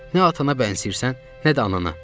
Nə atana bənzəyirsən, nə də anana.